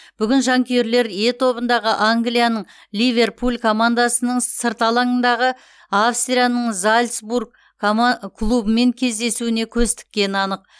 бүгін жанкүйерлер е тобындағы англияның ливерпуль командасының сырт алаңдағы австрияның зальцбург клубымен кездесуіне көз тіккені анық